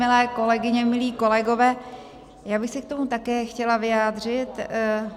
Milé kolegyně, milí kolegové, já bych se k tomu také chtěla vyjádřit.